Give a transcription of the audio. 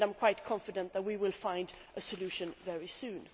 I am quite confident that we will find a solution very soon.